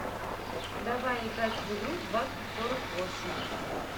давай играть в игру двадцать сорок восемь